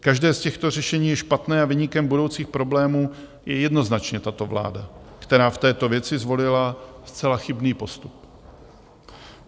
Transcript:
Každé z těchto řešení je špatné a viníkem budoucích problémů je jednoznačně tato vláda, která v této věci zvolila zcela chybný postup.